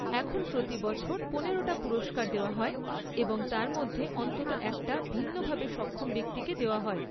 এখন প্রতি বছর পনেরোটা পুরস্কার দেওয়া হয় এবং তার মধ্যে অন্তত একটা ভিন্নভাবে সক্ষম ব্যক্তিকে দেওয়া হয়।